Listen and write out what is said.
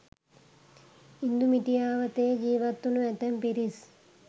ඉන්දු මිටියාවතේ ජීවත්වුණු ඇතැම් පිරිස්